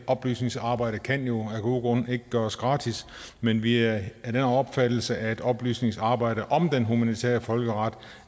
oplysningsarbejdet kan jo af gode grunde ikke gøres gratis men vi er af den opfattelse at oplysningsarbejdet om den humanitære folkeret